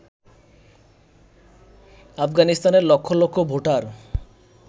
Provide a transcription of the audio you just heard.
আফগানিস্তানের লক্ষ লক্ষ ভোটার